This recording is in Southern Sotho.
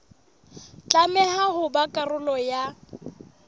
tlameha ho ba karolo ya